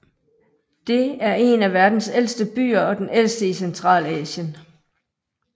Det er en af verdens ældste byer og den ældste i Centralasien